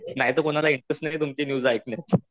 नाहीतर कोणाला इंटरेस्ट नाही तुमची न्युज ऐकण्यात.